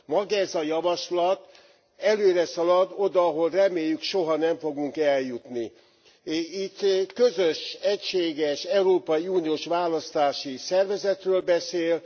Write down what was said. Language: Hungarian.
Maga ez a javaslat előreszalad oda, ahová reméljük soha nem fogunk eljutni. Itt közös egységes európai uniós választási szervezetről beszél.